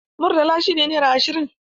Murtala shi ne naira ashirin